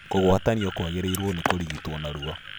Kũgwatanio kwagĩrĩirwo nĩkũrigitwo narua